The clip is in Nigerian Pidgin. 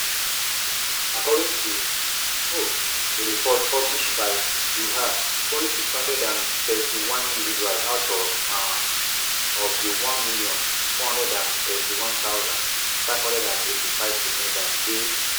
according to um a report published by dui hua only six hundred and thirty-one individuals out um of di one million, four hundred and thirty-one thousand, five hundred and eighty-five defendants dey not guilty by criminal courts for two thousand and twenty-two